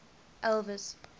elvis